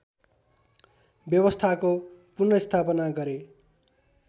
व्यवस्थाको पुनर्स्थापना गरे